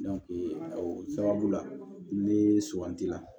o sababu la ne suganti la